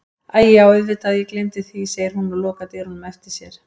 Æi já auðvitað ég gleymdi því, segir hún og lokar dyrunum á eftir sér.